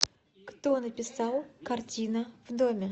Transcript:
кто написал картина в доме